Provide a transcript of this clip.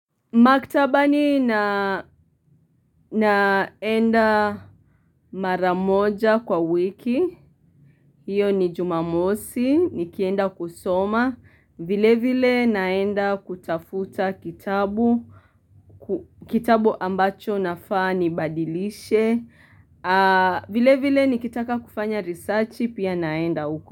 Maktabani naenda maramoja kwa wiki, hiyo ni jumamosi, nikienda kusoma, vile vile naenda kutafuta kitabu, kitabu ambacho nafaa ni badilishe, vile vile nikitaka kufanya risachi, pia naenda uko.